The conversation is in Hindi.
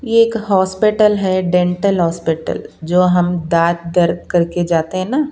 ये एक हॉस्पिटल है डेंटल हॉस्पिटल जो हम दांत दर्द करके जाते हैं ना--